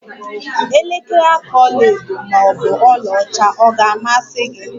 Elekere aka ọla edo maọbụ ọla ọcha ọ ga-amasi gi?